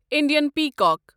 Indian peacock